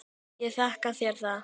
Ég þakka þér það.